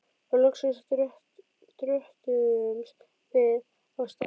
Og loksins dröttuðumst við af stað.